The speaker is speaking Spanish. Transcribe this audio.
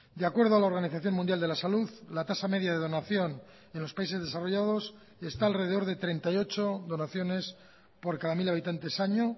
de acuerdo a la organización mundial de la salud la tasa media de donación en los países desarrollados está alrededor de treinta y ocho donaciones por cada mil habitantes año